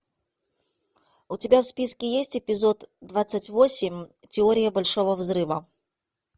у тебя в списке есть эпизод двадцать восемь теория большого взрыва